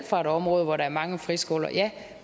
fra et område hvor der er mange friskoler ja